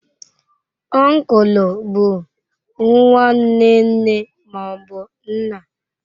Uncle bụ nwanne nne ma ọ bụ nna.